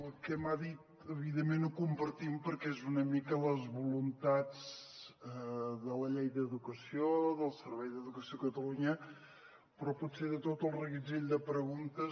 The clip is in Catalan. el que m’ha dit evidentment ho compartim perquè és una mica les voluntats de la llei d’educació del servei d’educació de catalunya però potser de tot el reguitzell de preguntes